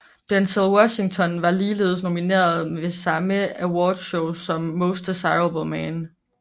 Denzel Washington var ligeledes nomineret ved samme awardshow som Most Desirable Male